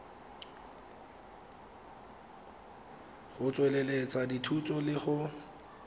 go tsweletsa dithuto le go